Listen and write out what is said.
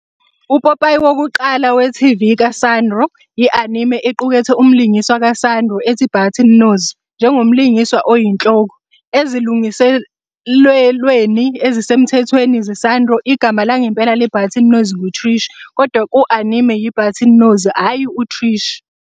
Upopayi wokuqala we-TV ka-Sanrio , i-anime equkethe umlingiswa ka-Sanrio ethi Button Nose njengomlingiswa oyinhloko. Ezilungiselelweni ezisemthethweni ze-Sanrio, igama langempela le-Button Nose ngu-Trish, kodwa ku-anime, yi-Button Nose, hhayi u-Trish.